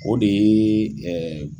O de ye